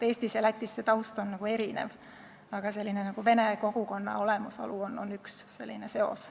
Eestis ja Lätis on taust erinev, aga vene kogukonna olemasolu on üks selline seos.